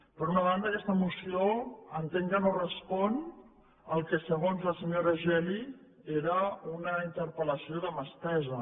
per una banda aquesta moció entenc que no respon al que segons la senyora geli era una interpel·lació de mà estesa